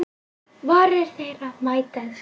Varir þeirra mætast.